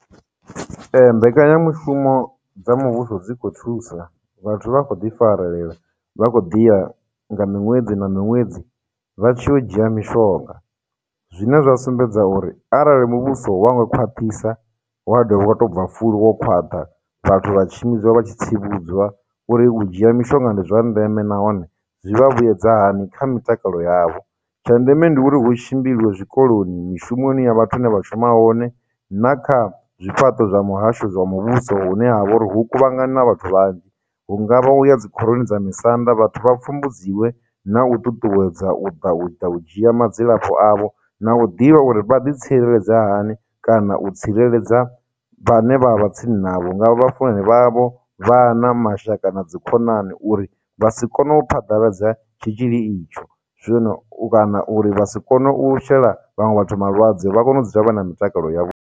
Ee, mbekanyamushumo dza muvhuso dzi khou thusa, vhathu vha khou ḓi farelela vha khou ḓi ya nga miṅwedzi na miṅwedzi vha tshi ya u dzhia mishonga, zwine zwa sumbedza uri arali muvhuso wa nga khwaṱhisa wa dovha wa tou bva fulo wo khwaṱha, vhathu vha tshimbidzwa vha tshi tsivhudzwa uri u dzhia mishonga ndi zwa ndeme nahone zwi vha vhuedza hani kha mitakalo yavho. Tsha ndeme ndi uri hu tshimbiliwe zwikoloni, mishumoni ya vhathu hune vha shuma hone, na kha zwifhaṱo zwa muhasho zwa muvhuso hune ha vha uri hu kuvhangana vhathu vhanzhi, hungavha uya dzikhoroni dza misanda, vhathu vha pfumbudziwe na u ṱuṱuwedza u ḓa u ḓa u dzhia madzilafho avho, na u ḓivha uri vha ḓi tsireledza hani kana u tsireledza vhane vha vha vha tsini na vho nga vha funani vha vho, vhana, mashaka, na dzikhonani uri vha si kone u phaḓaladza tshitzhili itsho, Zwino u kana uri vha si kone u shela vhaṅwe vhathu malwadze vha kone u dza vha na mitakalo yavho.